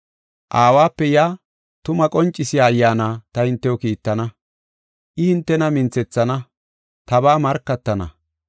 “Aawape yaa tumaa qoncisiya Ayyaana ta hintew kiittana. I hintena minthethana, tabaa markatana.